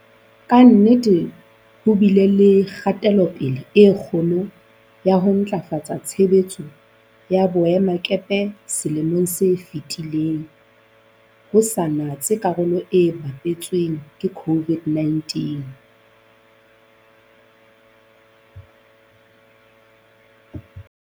Ka nnete ho bile le kgatelo-pele e kgolo ya ho ntlafatsa tshebetso ya boemakepe selemong se fetileng, ho sa natse karolo e bapetsweng ke COVID-19.